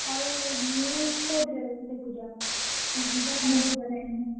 ଆଉ news କୋଉଥିରେ ବସି ଦେଖୁଛ? ।